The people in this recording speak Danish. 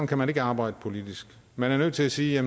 kan man ikke arbejde politisk man er nødt til at sige at